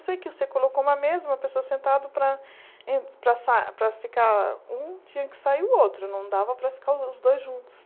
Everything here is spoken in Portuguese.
Eu sei que você colocou uma mesma pessoa sentada para em para sa para ficar um, tinha que sair o outro, não dava para ficar os dois juntos.